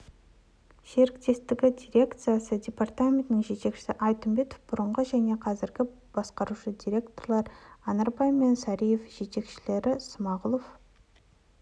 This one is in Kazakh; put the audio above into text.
серіктестігі дирекциясы департаментінің жетекшісі айтымбетов бұрынғы және қазіргі басқарушы директорлар анарбай және сариев жетекшілері смағұлов